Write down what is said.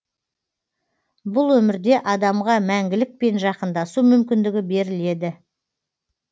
бұл өмірде адамға мәңгілікпен жақындасу мүмкіндігі беріледі